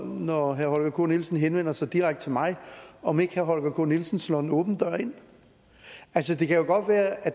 når herre holger k nielsen henvender sig direkte til mig om ikke herre holger k nielsen slår en åben dør ind altså det kan jo godt være at